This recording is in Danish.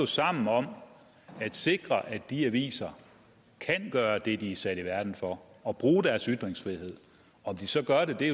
sammen om at sikre at de aviser kan gøre det de er sat i verden for og bruge deres ytringsfrihed om de så gør det er